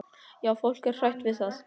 Já, fólk er hrætt við það.